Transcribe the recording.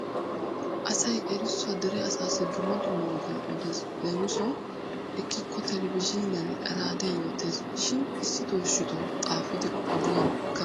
Asay erissuwaa dere asaassi dumma dumma ogiyan odes leemisuwawu ekkikko televizhiiniyan raadiya yootes. Shin issitoo issitoo xaafidi ogiyan kaqqi wottes.